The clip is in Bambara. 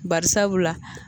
Barisabula